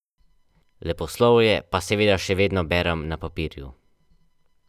In še zlasti obutvijo.